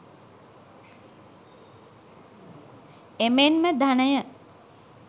එමෙන්ම ධනය